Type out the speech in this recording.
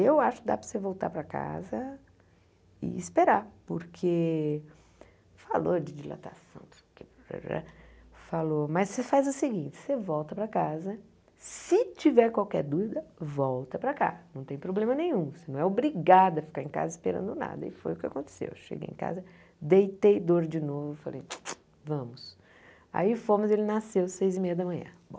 Eu acho que dá para você voltar para casa e esperar, porque falou de dilatação, não sei o que tararã falou, mas você faz o seguinte, você volta para casa, se tiver qualquer dúvida, volta para cá, não tem problema nenhum, você não é obrigada a ficar em casa esperando nada, e foi o que aconteceu, eu cheguei em casa, deitei dor de novo, falei, vamos, aí fomos, ele nasceu seis e meia da manhã, bom.